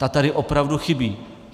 Ta tady opravdu chybí.